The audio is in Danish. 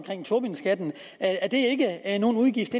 tobinskatten at at den ikke er en udgift